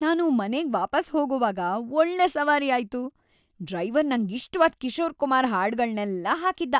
ನಾನು ಮನೆಗ್ ವಾಪಾಸ್ ಹೋಗೋವಾಗ ಒಳ್ಳೆ ಸವಾರಿ ಆಯ್ತು. ಡ್ರೈವರ್ ನಂಗಿಷ್ಟ್‌ವಾದ್‌ ಕಿಶೋರ್ ಕುಮಾರ್ ಹಾಡ್ಗಳ್ನೆಲ್ಲ ಹಾಕಿದ್ದ.